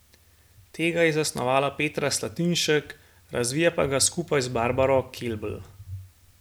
Tega je zasnovala Petra Slatinšek, razvija pa ga skupaj z Barbaro Kelbl.